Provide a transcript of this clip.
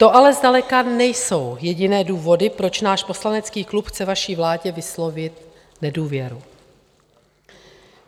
To ale zdaleka nejsou jediné důvody, proč náš poslanecký klub chce vaší vládě vyslovit nedůvěru.